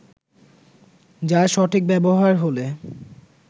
যার সঠিক ব্যবহার হলে